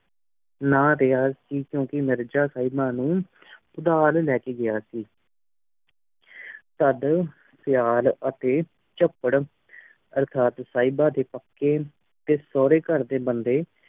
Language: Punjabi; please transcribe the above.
ਰਿਹਾ ਸੀ ਕਿਓਂਕਿ ਮਿਰਜ਼ਾ ਸਾਹਿਬਾਂ ਨੂ ਉਧਾਰ ਲੈ ਕੇ ਗਿਆ ਸੀ ਅਰਥਾਤ ਸਾਹਿਬਾਂ ਦੇ ਪੱਕੇ ਤੇ ਸੋਰੇ ਘਰ ਦੇ ਬੰਦੇ